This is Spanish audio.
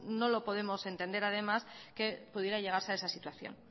no lo podemos entender además que pudiera llegarse a esa situación